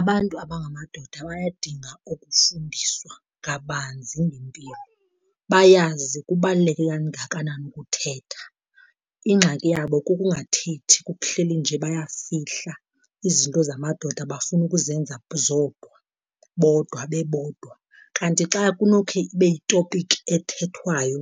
Abantu abangamadoda bayadinga ukufundiswa kabanzi ngempilo bayazi kubaluleke kangakanani ukuthetha. Ingxaki yabo kukungathethi, kuhleli nje bayafihla, izinto zamadoda bafuna ukuzenza zodwa bodwa bebodwa. Kanti xa kunokhe ibe yitopiki ethethwayo